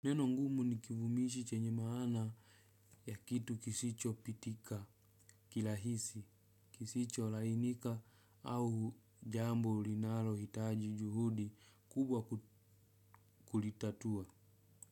Neno ngumu ni kivumishi chenye maana ya kitu kisicho pitika kirahisi, kisicho lainika au jambo linalohitaji juhudi kubwa kulitatua.